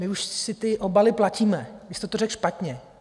My už si ty obaly platíme, vy jste to řekl špatně.